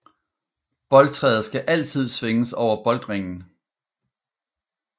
Boldtræet skal altid svinges over boldringen